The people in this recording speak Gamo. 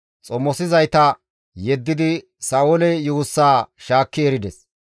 xomosizayta yeddidi Sa7oole yuussaa shaakki erides.